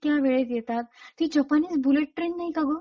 इतक्या वेळेत येतात कि ती जपानीज बुलेट ट्रेन नाही का गं?